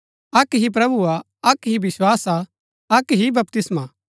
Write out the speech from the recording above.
अक्क ही प्रभु हा अक्क ही विस्वास हा अक्क ही बपतिस्मा हा